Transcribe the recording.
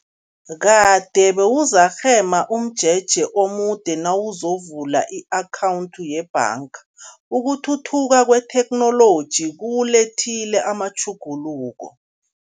Kade bewuzarhema umjeje omude nawuzovula i-akhawundi yebhanga, ukuthuthuka kwetheknoloji kuwulethile amatjhuguluko.